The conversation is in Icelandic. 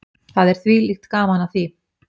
Það er þvílíkt gaman af því.